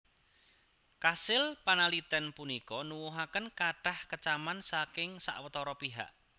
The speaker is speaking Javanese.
Kasil panalitèn punika nuwuhaken kathah kecaman saking sawatara pihak